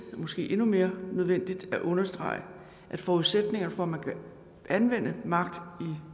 måske endnu mere nødvendigt at understrege at forudsætningen for at man kan anvende magt i